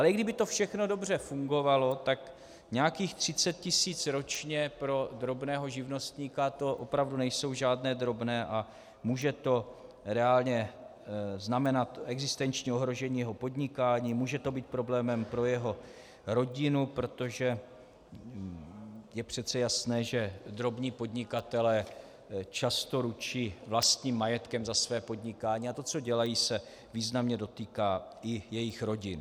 Ale i kdyby to všechno dobře fungovalo, tak nějakých 30 tisíc ročně pro drobného živnostníka, to opravdu nejsou žádné drobné a může to reálně znamenat existenční ohrožení jeho podnikání, může to být problémem pro jeho rodinu, protože je přece jasné, že drobní podnikatelé často ručí vlastním majetkem za své podnikání a to, co dělají, se významně dotýká i jejich rodin.